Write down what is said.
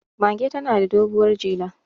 mage tana da doguwar jela